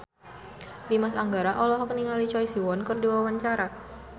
Dimas Anggara olohok ningali Choi Siwon keur diwawancara